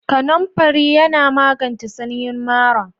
Kanamfari yana magance sanyin mara.